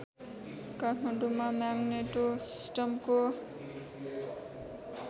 काठमाडौँमा म्याग्नेटो सिस्टमको